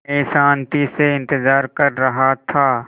मैं शान्ति से इंतज़ार कर रहा था